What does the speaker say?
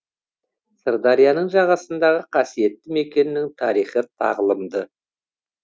сырдарияның жағасындағы қасиетті мекеннің тарихы тағлымды